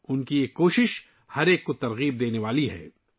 ان کی کوششیں سب کو متاثر کرنے والی ہیں